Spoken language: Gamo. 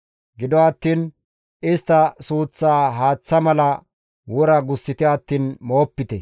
Gido attiin istta suuththaa haaththa mala wora gussite attiin moopite.